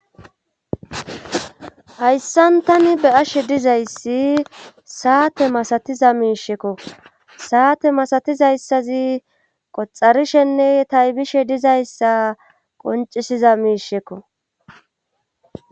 hayssan tani be7ashe dizayssi saate masatiza miishekko saate masatizayssazi qoxarishenne taybishe dizayssa qoncisiza miishekko